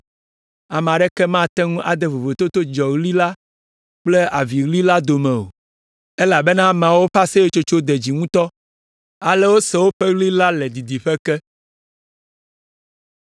Ame aɖeke mate ŋu ade vovototo dzidzɔɣli la kple aviɣli la dome o, elabena ameawo ƒe aseyetsotso de dzi ŋutɔ. Ale wose woƒe ɣli la le didiƒe ke.